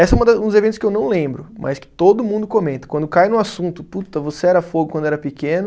Esse é uma da, uns eventos que eu não lembro, mas que todo mundo comenta, quando cai no assunto, puta, você era fogo quando era pequeno,